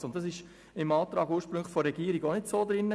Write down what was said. Im ursprünglichen Antrag der Regierung war das nicht enthalten.